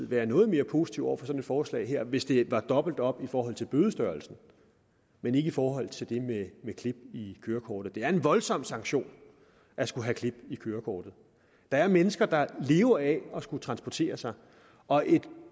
være noget mere positive over for et forslag her hvis det var dobbelt op i forhold til bødestørrelsen men ikke i forhold til det med klip i kørekortet det er en voldsom sanktion at skulle have klip i kørekortet der er mennesker der lever af at skulle transportere sig og et